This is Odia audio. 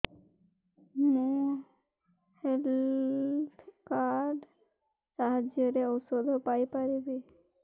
ମୁଁ ହେଲ୍ଥ କାର୍ଡ ସାହାଯ୍ୟରେ ଔଷଧ ପାଇ ପାରିବି